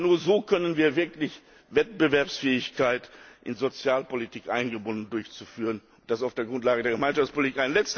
Aber nur so können wir wirklich Wettbewerbsfähigkeit in Sozialpolitik eingebunden durchführen, und das auf der Grundlage der Gemeinschaftspolitik.